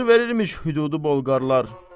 Acı verilmiş hüdudu Bolqarlar.